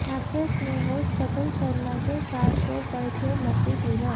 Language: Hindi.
एक्ट्रेस ने होस्ट कपिल शर्मा के साथ शो पर खूब मस्ती की है